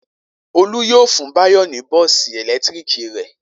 Olú yóò fún Báyọ̀ ní bọ́ọ́sì ẹ̀lẹ́tíríkì rẹ̀.